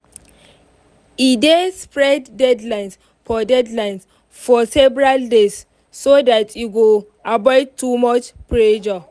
e dey spread deadlines for deadlines for several days so dat e go avoid too much pressure